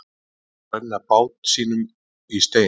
Að renna bát sínum í steininn